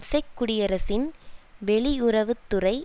check குடியரசின் வெளியுறவு துறை